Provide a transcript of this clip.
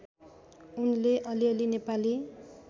उनले अलिअलि नेपाली